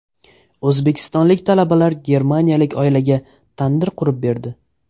O‘zbekistonlik talabalar germaniyalik oilaga tandir qurib berdi .